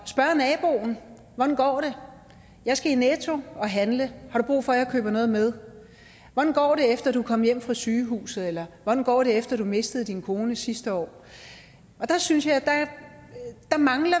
spørge naboen hvordan går det jeg skal i netto og handle har du brug for at jeg køber noget med hvordan går det efter du er kommet hjem fra sygehuset eller hvordan går det efter du mistede din kone sidste år og der synes jeg